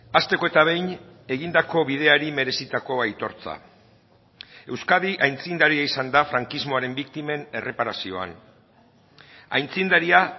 hasteko eta behin egindako bideari merezitako aitortza euskadi aitzindaria izan da frankismoaren biktimen erreparazioan aitzindaria